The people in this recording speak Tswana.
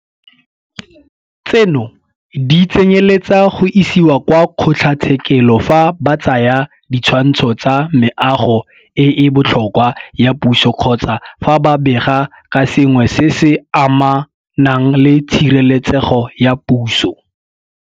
Tseno di tsenyeletsa go isiwa kwa kgotlatshekelo fa ba tsaya ditshwantsho tsa Meago e e Botlhokwa ya Puso kgotsa fa ba bega ka sengwe se se amanang le Tshireletsego ya Puso.